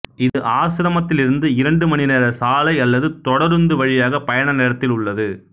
இது ஆசிரமத்திலிருந்து இரண்டு மணி நேர சாலை அல்லது தொடருந்து வழியாக பயண நேரத்தில் உள்ளது